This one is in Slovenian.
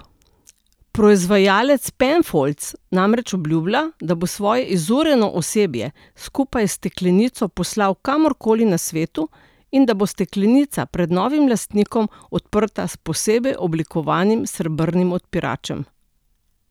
Proizvajalec Penfolds namreč obljublja, da bo svoje izurjeno osebje skupaj s steklenico poslali kamor koli na svetu in da bo steklenico pred novim lastnikom odprta s posebej oblikovanim srebrnim odpiračem.